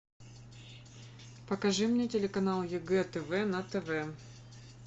покажи мне телеканал егэ тв на тв